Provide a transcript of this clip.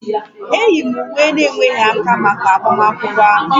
E yi m uwe na-enweghi aka maka agbamakwụkwọ ahụ